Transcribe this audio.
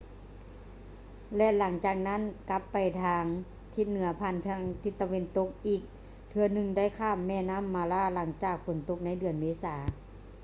ແລະ ຫຼັງຈາກນັ້ນກັບໄປທາງທິດເໜືອຜ່ານທິດຕາເວັນຕົກ ອີກເທື່ອໜຶ່ງໄດ້ຂ້າມແມ່ນໍ້າ mara ຫລັງຈາກຝົນຕົກໃນເດືອນເມສາ